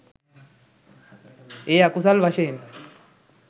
එය අකුසල් වශයෙන්